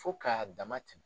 Fo k'a dama tɛmɛn.